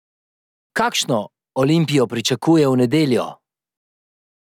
Kakšno Olimpijo pričakuje v nedeljo?